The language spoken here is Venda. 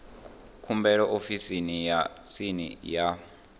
khumbelo ofisini ya tsini ya